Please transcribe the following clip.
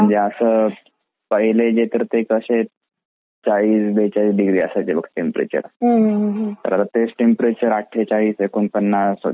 असा पहिले जे असे कसा चाळीस बेचाळीस डिग्री असायचे बघ टेम्परेचर आता तेच टेम्परेचर आठेचलीस ऐकोनपन्नास असा.